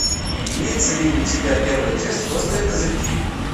имеется ли у тебя первая часть острые козырьки